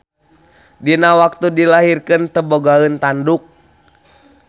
Dina waktu dilahirkeun teu bogaeun tanduk.